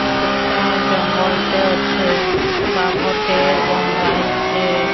ଗୋଟାଏ ଜଙ୍ଗଲଟେ ଅଛେ ବାଘଟେ ବନ୍ଧା ହେଇଛେ।